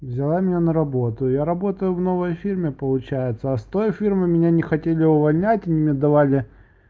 взяла меня на работу я работаю в новой фирме получается а стой фирмы меня не хотели увольнять меня давали